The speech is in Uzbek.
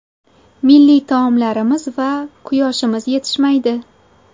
Milliy taomlarimiz va… quyoshimiz yetishmaydi.